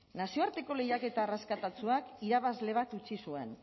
nazioarteko lehiaketa arrakastatsuak irabazle bat utzi zuen